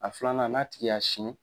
A filanan n'a tigi y'a siyɛn